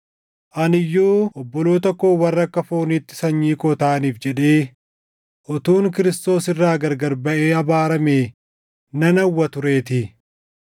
Ani iyyuu obboloota koo warra akka fooniitti sanyii koo taʼaniif jedhee utuun Kiristoos irraa gargar baʼee abaaramee nan hawwa tureetii;